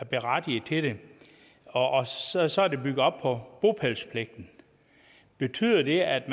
berettiget til den og så så er det bygget op på bopælspligten betyder det at